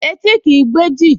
Etí kìí gbọ́ èjì